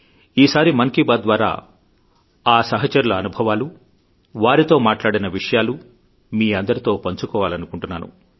ఈసారి మన్ కీ బాత్ ద్వారా ఆ సహచరుల అనుభవాలు వారితో మాట్లాడిన విషయాలు మీ అందరితో పంచుకోవాలనుకుంటున్నాను